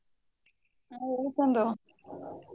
ಹ ಹೇಳಿ ಚಂದು.